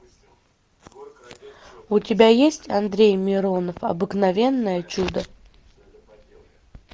у тебя есть андрей миронов обыкновенное чудо